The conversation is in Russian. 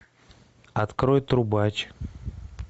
открой трубач